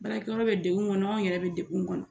Baarakɛyɔrɔ bɛ degun kɔnɔ anw yɛrɛ bɛ degun kɔnɔ